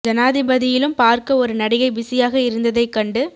ஜனாதிபதியிலும் பார்க்க ஒருநடிகை பிஸியாக இருந்ததைகண்டு